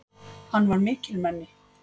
Hann var mikilmenni!